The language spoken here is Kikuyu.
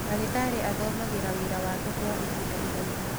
ndagītarī athomagīra wīra wake kwa ihinda iraihu.